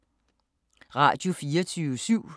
Radio24syv